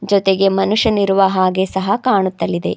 ಜೊತೆಗೆ ಮನುಷ್ಯನಿರುವ ಹಾಗೆ ಸಹ ಕಾಣುತ್ತಲಿದೆ.